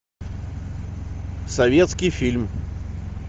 советский фильм